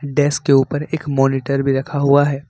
Desk के ऊपर एक मॉनिटर भी रखा हुआ है।